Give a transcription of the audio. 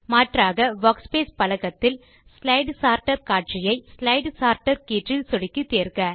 மாற்றாக வர்க்ஸ்பேஸ் பலகத்தில் slide sorter காட்சியை ஸ்லைடு சோர்ட்டர் கீற்றில் சொடுக்கி தேர்க